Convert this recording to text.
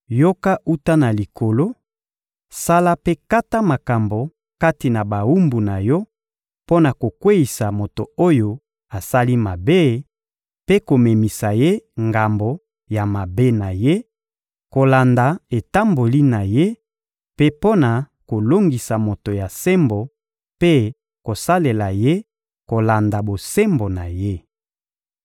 yoka wuta na Likolo; sala mpe kata makambo kati na bawumbu na Yo mpo na kokweyisa moto oyo asali mabe mpe komemisa ye ngambo ya mabe na ye, kolanda etamboli na ye, mpe mpo na kolongisa moto ya sembo mpe kosalela ye kolanda bosembo na ye.